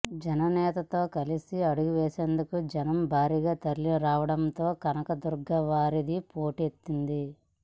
జననేతతో కలసి అడుగు వేసేందుకు జనం భారీగా తరలిరావడంతో కనకదుర్గ వారధి పోటెత్తింది